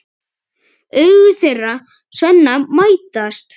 Augu þeirra Svenna mætast.